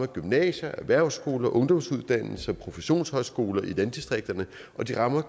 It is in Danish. gymnasier erhvervsskoler ungdomsuddannelser og professionshøjskoler i landdistrikterne og det rammer